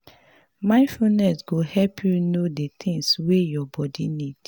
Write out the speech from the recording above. mindfulness go help you know di things wey your body need